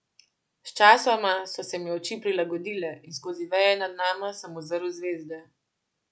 Sčasoma so se mi oči prilagodile in skozi veje nad nama sem uzrl zvezde.